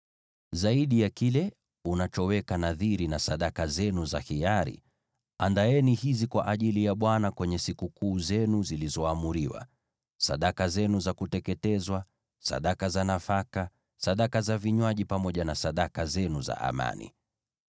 “ ‘Zaidi ya kile unachoweka nadhiri na sadaka zenu za hiari, andaeni hizi kwa ajili ya Bwana kwenye sikukuu zenu zilizoamriwa: sadaka zenu za kuteketezwa, sadaka za nafaka, sadaka za vinywaji, pamoja na sadaka zenu za amani.’ ”